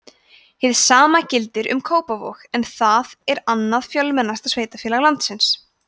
hið sama gildir um kópavog en það er annað fjölmennasta sveitarfélag landsins